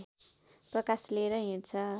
प्रकाश लिएर हिँड्छ